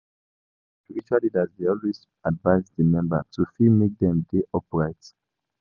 Normally di spiritual leaders dey always advise di member to fit make dem dey upright